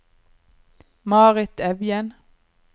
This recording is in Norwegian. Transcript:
Marit Evjen